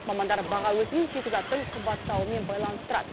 мамандар баға өсімін шикізаттың қымбаттауымен байланыстырады